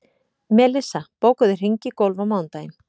Melissa, bókaðu hring í golf á mánudaginn.